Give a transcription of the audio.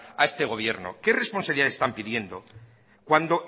a este gobierno qué responsabilidades están pidiendo cuando